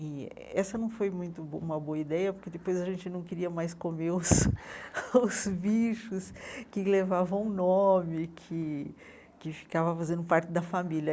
E essa não foi muito uma boa ideia, porque depois a gente não queria mais comer os os bichos que levavam nome, que que ficavam fazendo parte da família.